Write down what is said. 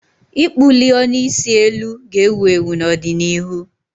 ịkpụli ọnụ isi eluu ga-ewu ewu n'ọdịnihu.